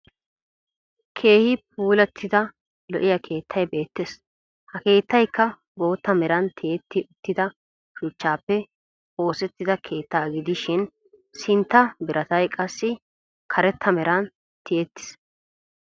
Keehi pulattidaa lo'iya keettay beettes. Ha keettayikka bootta meran tiyetti uttida shuchchaappe oosettida keettaagidishin sintta biratay qassi karetta meran tiyettis.